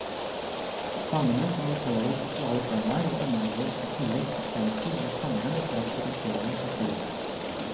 Sangene kommenterer sosiale temaer og inneholder i tillegg sekvenser hvor sangeren karakteriserer seg selv.